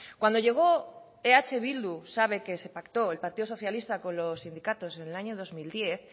cuando llegó eh bildu sabe que se pactó el partido socialista con los sindicatos en el año dos mil diez